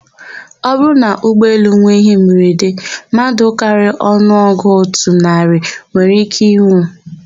Ọbụrụ na ụgbọelu nwe íhé mberede, mmadụ karịrị ọnụọgụ otu narị nwere íké ịnwụ.